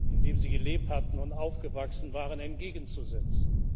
in dem sie gelebt hatten und aufgewachsen waren, entgegenzusetzen.